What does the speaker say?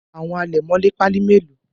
Àwo àlẹ̀mọ́lẹ̀ Pali melo?